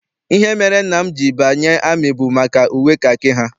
Ihe mere nna m ji banye amị bụ maka uwe kakị ha.